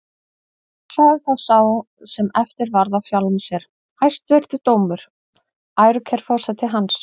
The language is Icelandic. Sagði þá sá sem eftir varð af sjálfum sér: Hæstvirtur dómur, ærukær forseti hans!